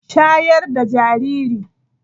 Shayar da jariri!